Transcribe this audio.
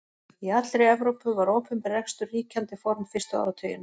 Í allri Evrópu var opinber rekstur ríkjandi form fyrstu áratugina.